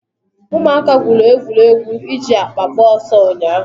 Ụmụaka gwụrụ egwuregwu iji akpa agba ọsọ ụnyahụ.